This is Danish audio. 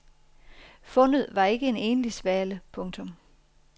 Fundet var ikke kun en enlig svale. punktum